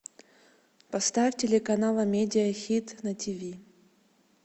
поставь телеканал амедия хит на тв